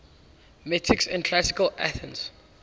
metics in classical athens